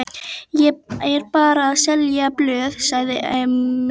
Ég er bara að selja blöð, sagði Emil.